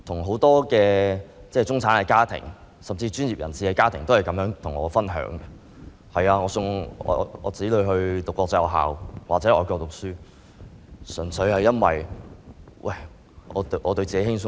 很多中產家庭或專業人士家庭的家長告訴我，送子女到國際學校或外國讀書，純粹因為想對自己輕鬆一點。